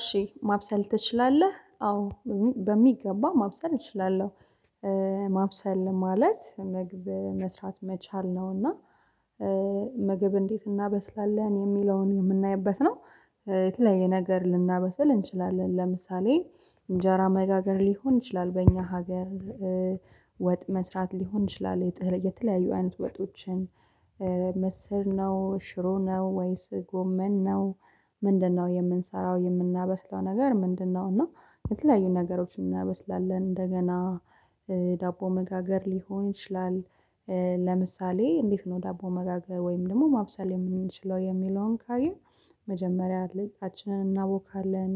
እሺ ማብሰል ትችላለህ አዎ በሚገባ ማብሰል እችላለሁ። ማብሰል ማለት ምግብ መስራት መቻል ነው እና ምግብ እንዴት እናበስላለን እሚለውን እምናይበት ነው። የተለያየ ነገር ልናበስል እንችላለን ለምሳሌ እንጀራ መጋገር ሊሆን ይችላል በእኛ ሀገር ወጥ መስራት ሊሆን ይችላል የተለያዩ አይነት ወጦችን ምስር ነው ሽሮ ነው ወይስ ጎመን ነው። ምንድነው የምንሰራው የምናበስለው ነገር ምንድነው? እና የተለያዩ ነገሮችን እናበስላለን እንደገና ዳቦ መጋገር ሊሆን ይችላል። ለምሳሌ እንዴት ነው ዳቦ መጋገር ወይም ደግሞ ማብሰል እምንችለው የሚለውን ካየን። መጀመሪያ ሊጣችንን እናቦካለን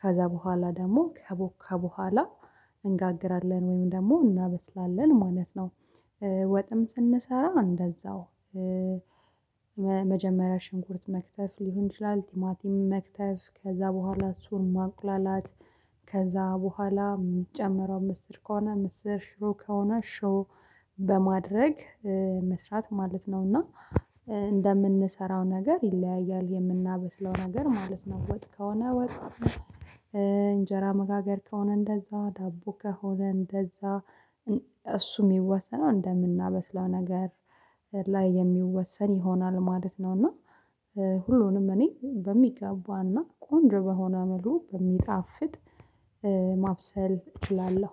ከዛ በኋላ ደግሞ ከቦካ በኋላ እንጋግራለን ወይም ደግሞ እናበስላለን ማለት ነው። ወጥም ስንሰራ እንደዛው መጀመሪያ ሽንኩርት መክተፍ ሊሆን ይችላል ቲማቲም መክተፍ ከዛ በኋላ እሱን ማቁላላት። ከዛ በኋላ እሚጨመረው ምስር ከሆነ ምስር ሽሮ ከሆነ ሽሮ በማድረግ መስራት ማለት ነው። እና እንደምንሰራው ነገር ይለያያል የምናበስለው ነገር ማለት ነው። ወጥ ከሆነ ወጥ። እንጀራ መጋገር ከሆነ እንደዛው ዳቦ ከሆነ እንደዛ። እሱ እሚወሰነው እንደምናበስለው ነገር ላይ የሚወሰን ይሆናል ማለት ነው። እና ሁሉንም እኔ በሚገባና ቆንጆ በሆነ መልኩ በሚጣፍጥ ማብሰል እችላለሁ